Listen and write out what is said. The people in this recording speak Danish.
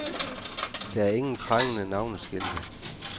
Der er ingen prangende navneskilte.